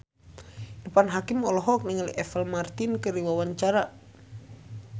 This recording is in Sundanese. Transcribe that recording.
Irfan Hakim olohok ningali Apple Martin keur diwawancara